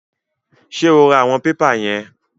Ṣé o ra àwọn pépà yẹn?